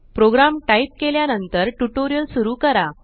programme type केल्या नंतर tutorial सुरू करा